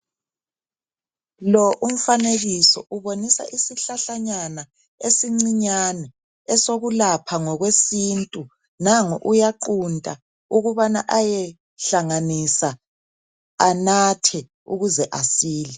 Lo umfanekiso ubonisa isihlahlanyana esincinyana esikulapha ngokwesintu. Nangu uyaqunta ukubana ayehlanganisa anathe ukuze asile.